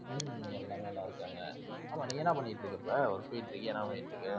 உம் எல்லாம் நல்லாருக்காங்க. ஆமாம் நீ என்ன பண்ணீட்டிருக்க இப்போ? work போயிட்டிருக்கியா என்ன பண்ணீட்டிருக்க?